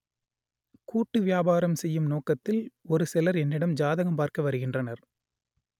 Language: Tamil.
கூட்டு வியாபாரம் செய்யும் நோக்கத்தில் ஒரு சிலர் என்னிடம் ஜாதகம் பார்க்க வருகின்றனர்